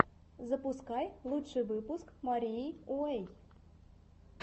запускай лучший выпуск марии уэй